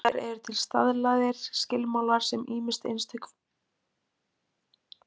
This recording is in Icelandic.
Hins vegar eru til staðlaðir skilmálar sem ýmist einstök fyrirtæki, félagasamtök eða ríkið býr til.